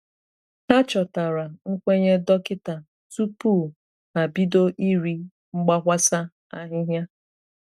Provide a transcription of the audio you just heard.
Hà chọ̀tara nkwenye dọkịta tupu ha bido iri mgbakwasa ahịhịa.